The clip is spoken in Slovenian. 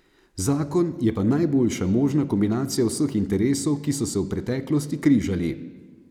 Zakon je pa najboljša možna kombinacija vseh interesov, ki so se v preteklosti križali.